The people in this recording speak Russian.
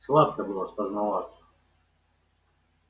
сладко было спознаваться